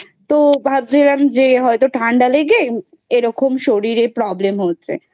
তো ভাবছিলাম যে হয়তো ঠান্ডা লেগে এরকম শরীরে Problem হচ্ছে